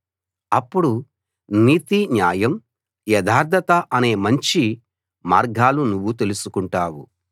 అప్పుడు నీతి న్యాయం యథార్థత అనే మంచి మార్గాలు నువ్వు తెలుసుకుంటావు